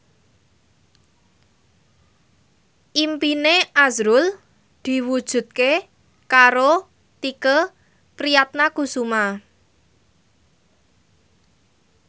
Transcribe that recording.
impine azrul diwujudke karo Tike Priatnakusuma